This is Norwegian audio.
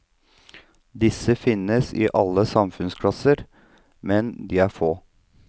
Disse finnes i alle samfunnsklasser, men de er få.